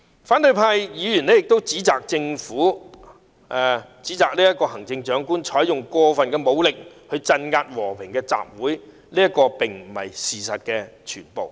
反對派議員亦指責行政長官"採用過份武力鎮壓和平集會"，但這並不是事實的全部。